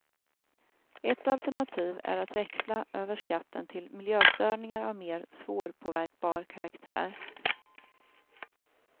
Ett alternativ är att växla över skatten till miljöstörningar av mer svårpåverkbar karaktär.